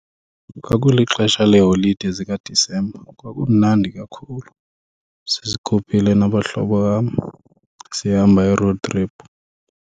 Kwakulixesha leeholide zikaDisemba, kwakumnandi kakhulu sizikhuphile nabahlobo bam sihamba i-road trip.